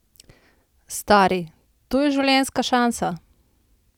Stari, to je življenjska šansa!